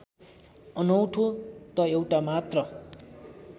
अनौठो त एउटा मात्र